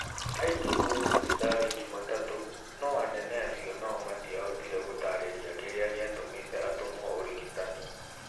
Aingĩrire thibitarĩ Jumatatu no anene acio no matiahotire gũtaarĩria kĩrĩa gĩatũmĩte atũmwo ũrigitani.